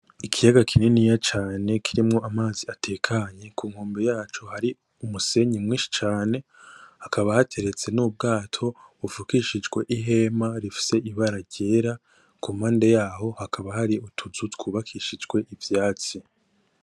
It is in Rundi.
Ikiyaga kininiya cane kirimwo amazi atekanye kunkombe yaco hari umusenyi mwinshi cane hakaba hateretse nubwato bofukishijwe ihema rifise ibara ryera kumpanda haho hakaba hari utuzu dufukishijwe ivyatsi